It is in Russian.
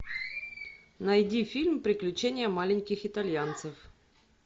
найди фильм приключения маленьких итальянцев